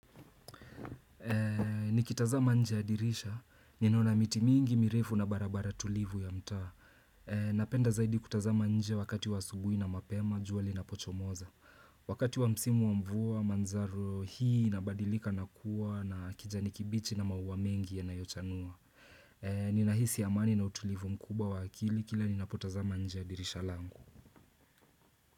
Nikitazama nje ya dirisha, ninaona miti mingi mirefu na barabara tulivu ya mtaa. Napenda zaidi kutazama nje wakati wa asubuhi na mapema, jua linapochomoza. Wakati wa msimu wa mvua, manjano hii inabadilika na kuwa na kijani kibichi na maua mengi yanayochanua. Ninahisi amani na utulivu mkubwa wa akili kila ninapotazama nje ya dirisha langu.